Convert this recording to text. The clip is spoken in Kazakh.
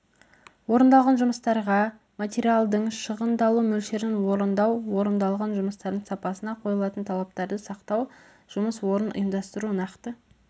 орындалған жұмыстарға материалдардың шығындалу мөлшерін орындау орындалған жұмыстардың сапасына қойылатын талаптарды сақтау жұмыс орнын ұйымдастыру нақты